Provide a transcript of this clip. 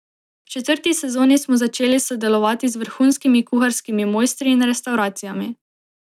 V četrti sezoni smo začeli sodelovati z vrhunskimi kuharskimi mojstri in restavracijami.